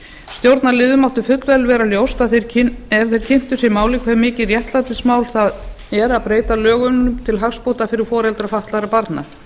stjórnarliðum mátti fullvel vera ljóst ef þeir kynntu sér málið hve mikið réttlætismál það er að breyta lögunum til hagsbóta fyrir foreldra fatlaðra barna